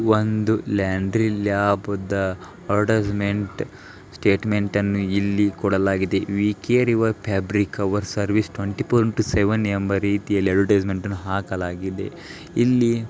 ಒಂದು ಲ್ಯಾಂಡ್ರಿ ಲ್ಯಾಬದ advertisement statement ಅನ್ನು ಇಲ್ಲಿ ಕೊಡಲಾಗಿದೆ. We care your fabrics our services twenty four into seven ಎಂಬ ರೀತಿಯಲ್ಲಿ ಅಡ್ವಟೈಸ್ಮೆಂಟ್ ಹಾಕಲಾಗಿದೆ. ಇಲ್ಲಿ--